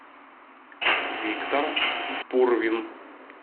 виктор пурвин